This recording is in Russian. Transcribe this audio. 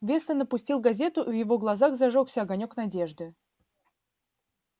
вестон опустил газету и в его глазах зажёгся огонёк надежды